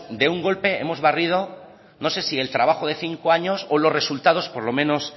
de un golpe hemos barrido no sé si el trabajo de cinco años o los resultados por lo menos